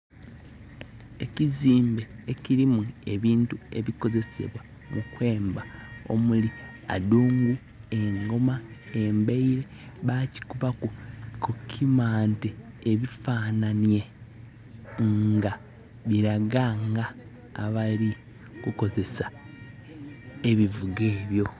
Ekizimbe ekirimu ebintu ebikozesebwa mukwemba omuli addungu ,engoma ,embaire bakikubaku kukimante ebifananhie eranga biraga nga abalikozesa ebivuga ebyo.